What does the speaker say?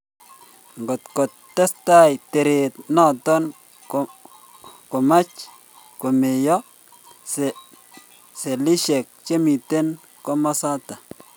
Ngotkotestai teret notok komach komeiyo selishek chemite komasatak